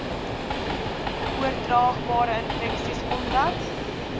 oordraagbare infeksies omdat